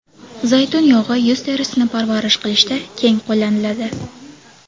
Zaytun yog‘i yuz terisini parvarish qilishda keng qo‘llaniladi.